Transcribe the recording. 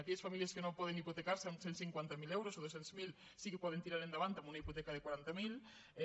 aquelles famílies que no poden hipotecarse amb cent i cinquanta miler euros o dos cents miler sí que poden tirar endavant amb una hipoteca de quaranta miler